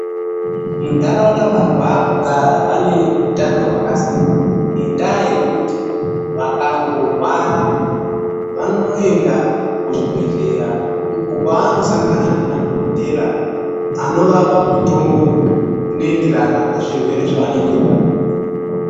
Muntaraunda vanhu vaakugara vane utano hwakasimba, ngendaa yekuti vakangorwara vanoenda kuzvibhedhlera, uko kwevanosangana nemadhokothera anovapa mitombo, inoenderana nezvirwere zvevanenge vanazvo.